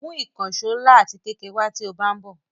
Mú ìkànṣó ńlá ati kékeré wá tí ó bá ń bò.